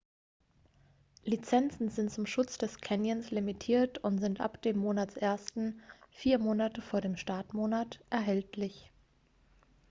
lizenzen sind zum schutz des canyons limitiert und sind ab dem monatsersten vier monate vor dem startmonat erhältlich